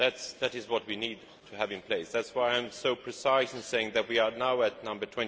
That is what we need to have in place and that is why I am so precise in saying that we are now at number